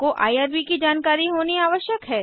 आपको आईआरबी की जानकारी होनी आवश्यक है